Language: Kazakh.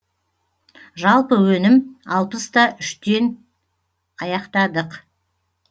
жалпы өнім алпыс та үштен аяқтадық